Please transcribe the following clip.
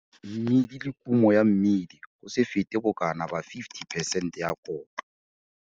Mmidi le kumo ya mmidi go se fete bokana ba 50 percent ya kotlo.